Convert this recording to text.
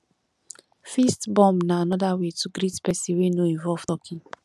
fist bump na anoda way to greet person wey no involve talking